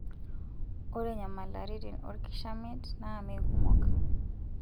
Ore nyamalaritin olkishamiet naa meekumok.